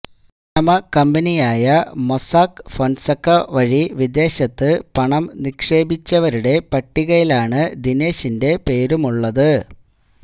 Panama കമ്പനിയായ Mossack Fonseca വഴി വിദേശത്ത് പണം നിക്ഷേപിച്ചവരുടെ പട്ടികയിലാണ് ദിനേശിന്റെ പേരുമുള്ളത്